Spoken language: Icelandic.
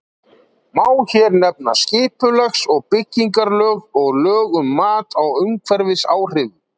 Má hér nefna skipulags- og byggingarlög og lög um mat á umhverfisáhrifum.